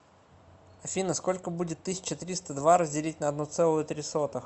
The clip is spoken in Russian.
афина сколько будет тысяча триста два разделить на одну целую три сотых